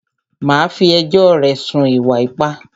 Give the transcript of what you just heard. Màá fí ẹjọ́ rẹ̀ sùn fún ìwà ipá!